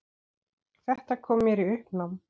Þetta kom mér í uppnám